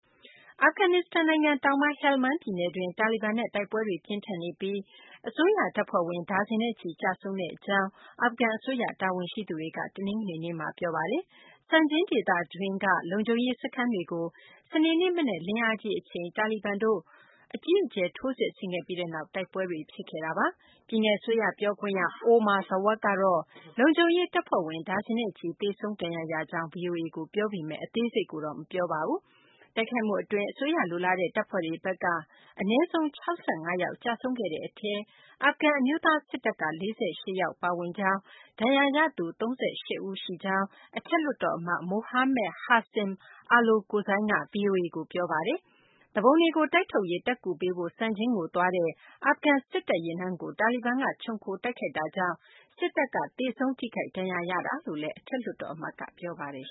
အာဖဂန်နစ္စတန်နိုင်ငံ တောင်ပိုင်း ဟယ်လ်မန်း ပြည်နယ်တွင်း တာလီဘန်နဲ့ တိုက်ပွဲတွေ ပြင်းထန်နေပြီး အစိုးရ တပ်ဖွဲ့ဝင် ဒါဇင်နဲ့ချီ ကျဆုံးကြောင်း အာဖဂန် အစိုးရ တာဝန်ရှိသူတွေက တနင်္ဂနွေနေ့မှာ ပြောပါတယ်။ Sangin ဒေသတွင်းက လုံခြုံရေး စခန်းတွေကို စနေနေ့ မနက်လင်းအားကြီး အချိန် တာလီဘန်တို့က အကြီးအကျယ် ထိုးစစ်ဆင်ခဲ့ပြီးနောက် တိုက်ပွဲတွေ ဖြစ်ခဲ့တာပါ။ ပြည်နယ် အစိုးရ ပြောခွင့်ရ Omar Zwak ကတော့ လုံခြုံရေး တပ်ဖွဲ့ဝင် ဒါဇင်နဲ့ချီ သေဆုံး ဒဏ်ရာရကြောင်း ဗွီအိုအေကို ပြောပါတယ်။ အသေးစိတ်ကိုတော့ မပြောပါဘူး။ တိုက်ခိုက်မှု အတွင်း အစိုးရ လိုလားတဲ့ တပ်ဖွဲ့တွေဘက်က အနည်းဆုံး ၆၅ ယောက် ကျဆုံးခဲ့တဲ့ အထဲမှာ အာဖဂန် အမျိုးသား စစ်တပ်က ၄၈ ယောက် ပါဝင်ကြောင်း၊ ဒဏ်ရာရသူ ၃၈ ဦး ရှိကြောင်း အထက်လွှတ်တော် အမတ် Mohammed Hasim Alokozai က ဗွီအိုအေကို ပြောပါတယ်။ သူပုန်တွေကို တိုက်ထုတ်ရေး တပ်ကူပေးဖို့ Sangin ကို သွားတဲ့ အာဖဂန် စစ်တပ် ယာဉ်တန်းကို တာလီဘန်က ခြုံခိုတိုက်ခိုက်ခဲ့တာကြောင့် စစ်တပ်က သေဆုံးထိခိုက် ဒဏ်ရာရတာလို့လည်း အထက်လွှတ်တော် အမတ်က ပြောပါတယ်